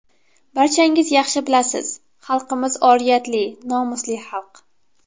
Barchangiz yaxshi bilasiz, xalqimiz oriyatli, nomusli xalq.